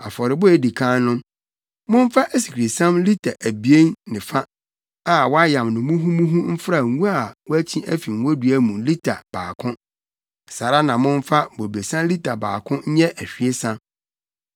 Afɔrebɔ a edi kan no, momfa asikresiam lita abien ne fa a wɔayam no muhumuhu mfra ngo a wɔakyi afi ngodua mu lita baako; saa ara na momfa bobesa lita baako nyɛ ahwiesa.